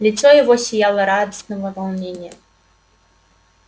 лицо его сияло радостного волнения